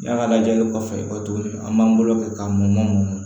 Yan ka lajɛli kɔfɛ tuguni an b'an bolo kɛ k'an mun